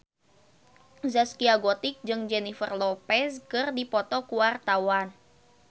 Zaskia Gotik jeung Jennifer Lopez keur dipoto ku wartawan